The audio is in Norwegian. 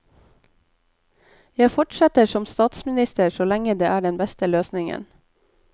Jeg fortsetter som statsminister så lenge det er den beste løsningen.